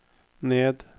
ned